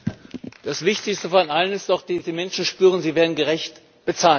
Das Wichtigste von allem ist doch, dass die Menschen spüren, sie werden gerecht bezahlt.